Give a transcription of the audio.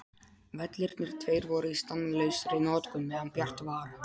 Vellirnir tveir voru í stanslausri notkun meðan bjart var.